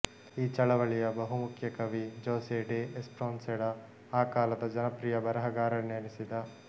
ಈ ಚಳವಳಿಯ ಬಹುಮುಖ್ಯ ಕವಿ ಜೊಸೆ ಡೆ ಎಸ್ಪ್ರೊನ್ಸೆಡಾ ಆ ಕಾಲದ ಜನಪ್ರಿಯ ಬರಹಗಾರರೆನಿಸಿದ